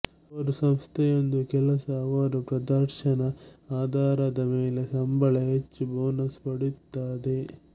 ಅವರು ಸಂಸ್ಥೆಯೊಂದು ಕೆಲಸ ಅವರು ಪ್ರದರ್ಶನದ ಆಧಾರದ ಮೇಲೆ ಸಂಬಳ ಹೆಚ್ಚು ಬೋನಸ್ ಪಡೆಯುತ್ತದೆ